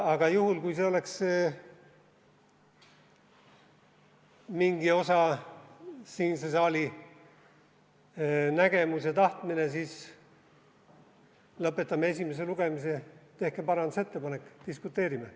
Juhul, kui see oleks mingi osa siinse saali nägemus ja tahtmine, siis lõpetame esimese lugemise, tehke parandusettepanek, diskuteerime.